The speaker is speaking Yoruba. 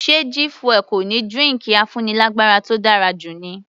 Ṣe G fuel kò ní drinki afúnilágbára tó dára jù ni?